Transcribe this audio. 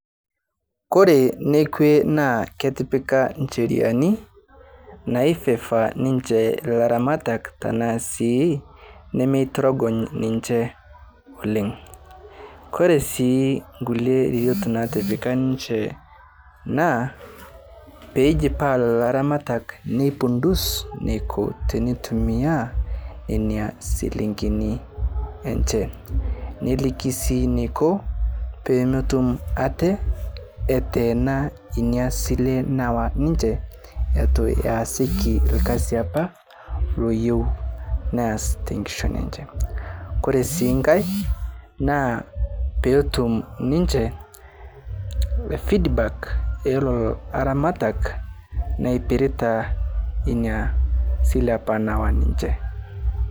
Kore nekwe naa ketipika nsheriani naifeva ninche laramatak tanasi nemetorongony ninche oleng, koresii nkule riot natipika ninche naa peijipaa lolo aramatak nepundus neko teneitumia nenia silingini enche niliki sii neko pemetum ate atenaa nia sile nawa niche atu ayasiki lkasi apa loyeu neas tenkishon enche, Koresii nkae naa petum ninche feedback elolo aramatak nepirita nia sile apa nawa ninche.